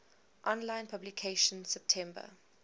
online publication september